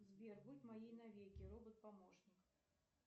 сбер будь моей навеки робот помощник